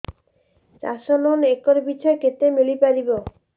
ଚାଷ loan acre ପିଛା କେତେ ମିଳି ପାରିବ